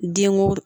Denw